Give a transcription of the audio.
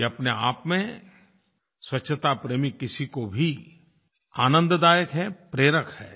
ये अपने आप में किसी भी स्वच्छताप्रेमी के लिए आनंदायक है प्रेरक है